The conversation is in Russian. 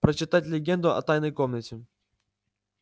прочитать легенду о тайной комнате